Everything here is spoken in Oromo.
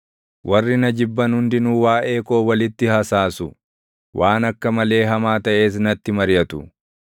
Warri na jibban hundinuu waaʼee koo walitti hasaasu; waan akka malee hamaa taʼes natti mariʼatu.